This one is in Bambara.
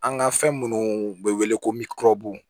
An ka fɛn munnu be wele ko